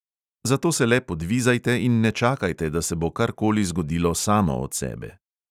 Zato se le podvizajte in ne čakajte, da se bo kar koli zgodilo samo od sebe.